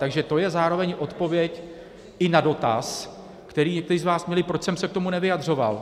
Takže to je zároveň odpověď i na dotaz, který někteří z vás měli, proč jsem se k tomu nevyjadřoval.